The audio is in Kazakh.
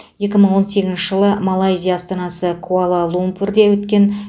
екі мың он сегізінші жылы малайзия астанасы куала лумпурде өткен